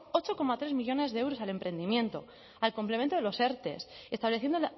ocho coma tres millónes de euros al emprendimiento al complemento de los erte estableciendo